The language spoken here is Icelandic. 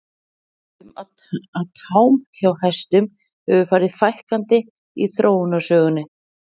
Við vitum að tám hjá hestum hefur farið fækkandi í þróunarsögunni.